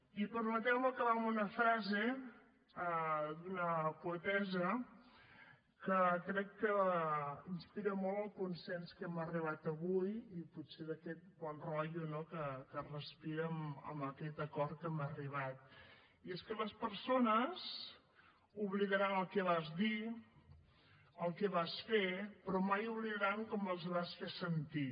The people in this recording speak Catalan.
i permeteu me acabar amb una frase d’una poetessa que crec que inspira molt el consens a què hem arribat avui i potser d’aquest bon rotllo no que es respira amb aquest acord a què hem arribat i és que les persones oblidaran el que vas dir el que vas fer però mai oblidaran com els vas fer sentir